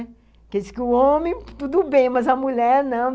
Porque dizem que o homem, tudo bem, mas a mulher, não.